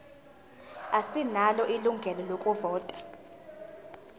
asinalo ilungelo lokuvota